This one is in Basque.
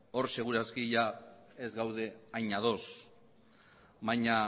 hor segur aski ez gaude hain ados baina